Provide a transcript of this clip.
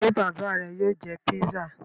Ṣé bàbá rẹ yóò jẹ pizza?